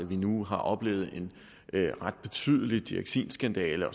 vi nu har oplevet en ret betydelig dioxinskandale